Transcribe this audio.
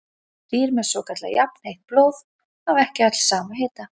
Dýr með svokallað jafnheitt blóð hafa ekki öll sama hita.